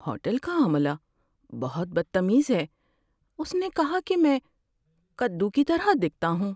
Hotel کا عملہ بہت بدتمیز ہے۔ اس نے کہا کہ میں کدو کی طرح دکھتا ہوں۔